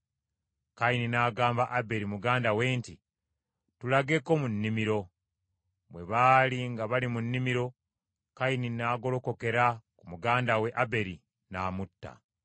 Kayini n’agamba Aberi muganda we nti, “Tulageko mu nnimiro.” Bwe baali nga bali mu nnimiro Kayini n’agolokokera ku muganda we Aberi, n’amutta.